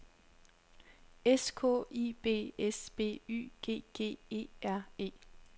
S K I B S B Y G G E R E